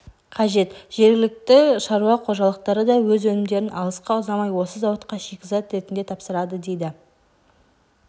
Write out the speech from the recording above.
қажет жергілікті шаруа қожалықтары да өз өнімдерін алысқа ұзамай осы зауытқа шикізат ретінде тапсырады дейді